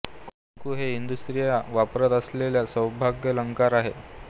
कुंकू हे हिंदू स्त्रिया वापरत असलेला सौभाग्यालंकार आहे